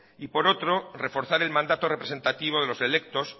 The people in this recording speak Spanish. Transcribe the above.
y por otro reforzar el mandato representativo de los electos